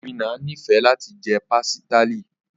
Obinna nifẹ lati jẹ pastilla.